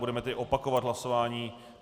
Budeme tedy opakovat hlasování.